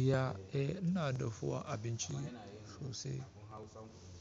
Iya, eh ina dafuwa abinci sosai.